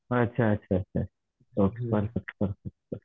अच्छा अच्छा अच्छा परफेक्ट परफेक्ट